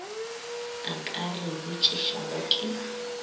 a ka re botšišago ke